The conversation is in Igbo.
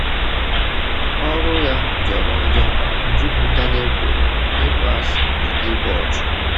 Ọrụ ya jọrọ njọ, jupụta n’ekworo, ịkpọasị, na igbu ọchụ.